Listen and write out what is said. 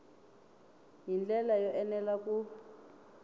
hi ndlela yo enela ku